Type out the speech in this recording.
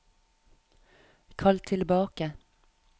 kall tilbake